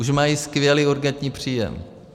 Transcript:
Už mají skvělý urgentní příjem.